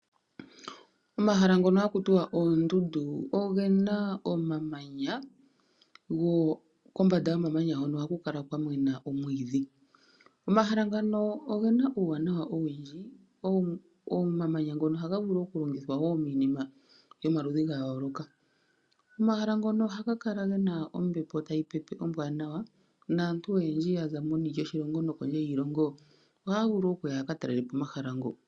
Omahala ngono haku tiwa oondundu ogena omamanya kombanda. Kombanda yomamanya hono ohaku kala kwa mena omwiidhi. Omahala ngano ogena omawuwanawa owundji. Omamanya ngono ohaga vulu wo oku longithwa miinima yayoloka. Omahala ngono ohaga kala gena ombepo tayi pepe ombwanawa. Naantu oyendji yaza meni lyoshilongo nokondje yiilongo oha vulu okuya yaka talelepo omahala ngoo.